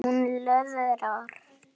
Hún megi vinna á sumrin.